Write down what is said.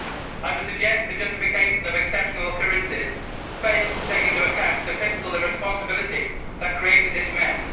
I would suggest the justification of exceptional occurrences fails to take into account the fiscal irresponsibility that created this mess.